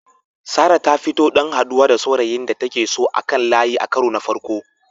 Sarah ta fita don haɗuwa da saurayin da take so a kan layi a karo na farko.